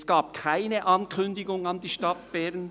Es gab keine Ankündigung an die Stadt Bern.